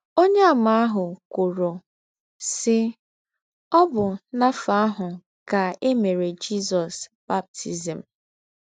Ọnyeàmà ahụ kwụrụ, sị, “ Ọ bụ n’afọ ahụ ka e mere Jizọs baptizim. ”